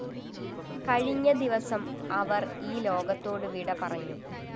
കഴിഞ്ഞ ദിവസം അവര്‍ ഈ ലോകത്തോടു വിടപറഞ്ഞു